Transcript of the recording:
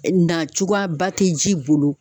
Ɛ Na cogoyaba te ji bolo